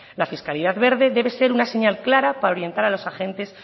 la fiscalidad verde debe ser una señal clara para orientar a los agentes